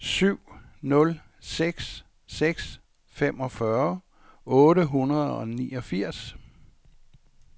syv nul seks seks femogfyrre otte hundrede og niogfirs